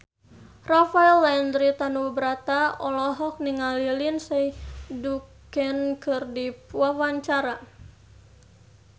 Rafael Landry Tanubrata olohok ningali Lindsay Ducan keur diwawancara